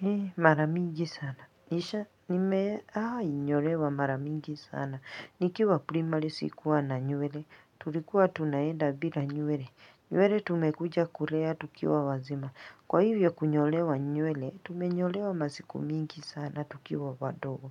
Hi maramingi sana. Nisha nimewai nyolewa maramingi sana. Nikiwa primari sikuwa na nywele. Tulikuwa tunaenda bila nywele. Nywele tumekuja kulea tukiwa wazima. Kwa hivyo kunyolewa nywele, tumenyolewa masiku mingi sana tukiwa wadogo.